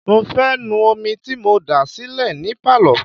mo fẹ́ nu omi tí mo dà sílẹ̀ ní Pálọ̀.